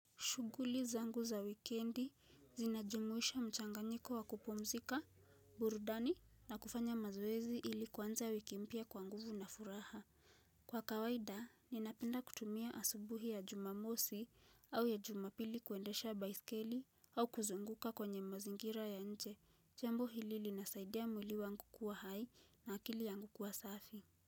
Shughuli zangu za wikendi zinajumuisha mchanganyiko wa kupumzika burudani na kufanya mazoezi ili kuanza wiki mpya kwa nguvu na furaha. Kwa kawaida, ninapenda kutumia asubuhi ya Jumamosi au ya Jumapili kuendesha baiskeli au kuzunguka kwenye mazingira ya nje. Jambo hili linasaidia mwili wangu kuwa hai na akili yangu kuwa safi.